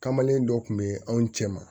Kamalen dɔ kun be anw cɛ ma